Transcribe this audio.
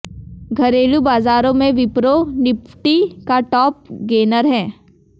घरेलू बाजारों में विप्रो निफ्टी का टॉप गेनर है